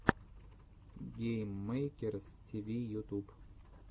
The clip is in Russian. гейммэйкерс тиви ютуб